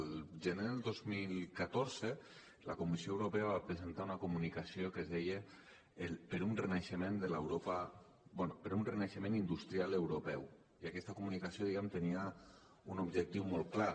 el gener del dos mil catorze la comissió europea va presentar una comunicació que es deia per un renaixement industrial europeu i aquesta comunicació diguem ne tenia un objectiu molt clar